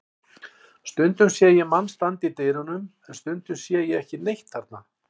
Stundum sé ég mann standa í dyrunum en stundum sé ég ekki neitt þarna.